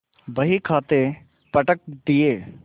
बहीखाते पटक दिये